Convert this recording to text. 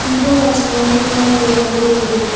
People are standing near the yellow building.